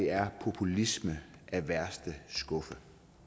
er populisme af værste skuffe